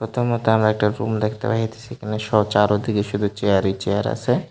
ছোটো মত আমরা একটা রুম দেখতে পাইতেছি এখানে স্ব চারোদিকে শুধু চেয়ারই চেয়ার আছে।